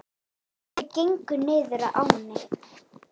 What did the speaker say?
Þau gengu niður að ánni.